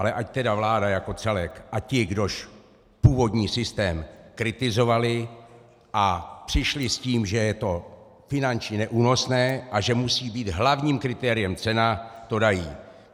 Ale ať tedy vláda jako celek a ti, kdož původní systém kritizovali a přišli s tím, že je to finančně neúnosné a že musí být hlavním kritériem cena, to dají.